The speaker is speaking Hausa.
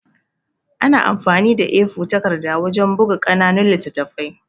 An amfani da A4 takarda wajan buka ƙananun littattafai